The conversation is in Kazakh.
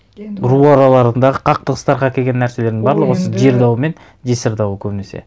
енді ол ру араларындағы қақтығыстарға әкелген нәрселердің барлығы осы жер дауы мен жесір дауы көбінесе